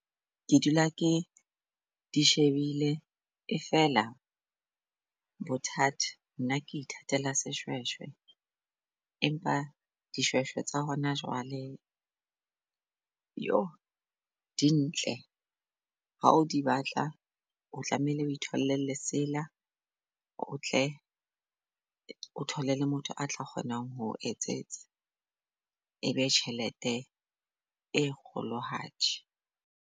Ke dula ke di shebile e fela bothata nna ke ithatela seshweshwe empa dishweshwe tsa hona jwale, di ntle. Ha o di batla, o tlamehile o itholle lesela o tle o thole le motho a tla kgonang ho etsetsa e be tjhelete e kgolohadi.